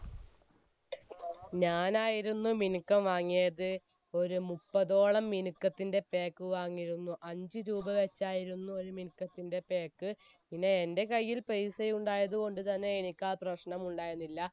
ഞാൻ ആയിരുന്നു മിനുക്കം വാങ്ങിയത് ഒരു മുപ്പതോളം മിനുക്കത്തിന്റെ pack വാങ്ങിയിരുന്നു അഞ്ച് രൂപ വച്ചായിരുന്നു ഒരു മിനുക്കത്തിന്റെ pack പിന്നെ എന്റെ കയ്യിൽ പെയ്‌സ ഉണ്ടായത് കൊണ്ട് തന്നെ എനിക്ക് ആ പ്രശ്നം ഉണ്ടായിരുന്നില്ല